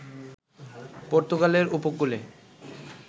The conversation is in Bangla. পর্তুগালের ঊপকূলে